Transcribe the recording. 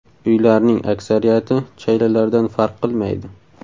Uylarning aksariyati chaylalardan farq qilmaydi.